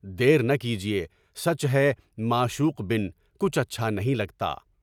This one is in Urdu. دیر نہ کیجیے، سچ ہے معشوق بن کر کچھ اچھا نہیں لگتا۔